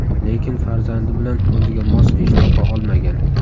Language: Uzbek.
Lekin farzandi bilan o‘ziga mos ish topa olmagan.